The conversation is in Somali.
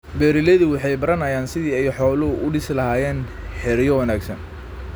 Beeraleydu waxay baranayaan sidii ay xooluhu u dhisi lahaayeen xeryo wanaagsan.